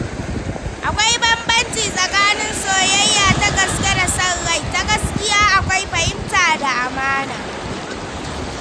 Akwai bambanci tsakanin soyayya ta gaske da son rai; ta gaske akwai fahimta da amana.